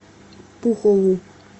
пухову